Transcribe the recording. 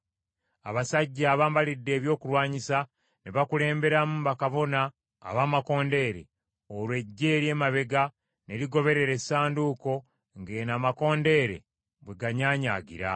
Abasajja abambalidde ebyokulwanyisa ne bakulemberamu bakabona ab’amakondeere, olwo eggye ery’emabega ne ligoberera Essanduuko ng’eno amakondeere bwe ganyaanyaagira.